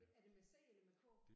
Er det med c eller med k?